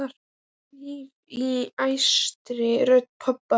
Það hvín í æstri rödd pabba.